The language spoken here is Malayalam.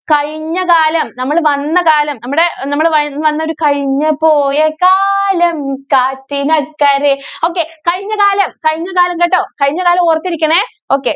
കഴിഞ്ഞ കാലം നമ്മള് വന്ന കാലം നമ്മടെ നമ്മള് വന്ന് വന്നൊരു കഴിഞ്ഞു പോയ കാലം കാറ്റിനക്കരെ. okay കഴിഞ്ഞ കാലം. കഴിഞ്ഞകാലം കേട്ടോ. കഴിഞ്ഞ കാലം ഓര്‍ത്തിരിക്കണേ? okay.